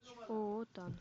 ооо тан